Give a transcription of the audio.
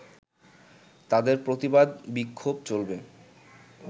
তাদের প্রতিবাদ-বিক্ষোভ চলবে